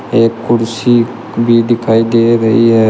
एक कुर्सी भी दिखाई दे रही है।